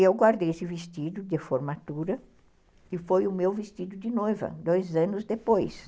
Eu guardei esse vestido de formatura, que foi o meu vestido de noiva, dois anos depois.